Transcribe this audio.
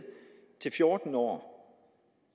til fjorten år